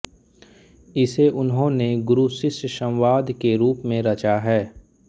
इसे उन्होंने गुरुशिष्यसंवाद के रूप में रचा है